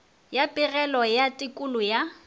ya pegelo ya tekolo ya